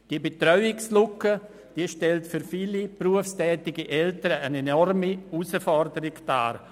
Die Betreuungslücke stellt für viele berufstätige Eltern eine enorme Herausforderung dar.